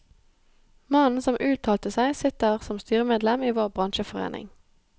Mannen som uttalte seg, sitter som styremedlem i vår bransjeforening.